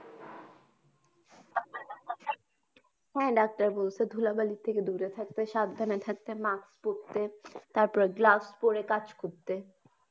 হ্যা doctor বলছে ধূলাবালির থেকে দূরে থাকতে, সাবধানে থাকতে, mask পড়তে, তারপরে gloves পরে কাজ করতে।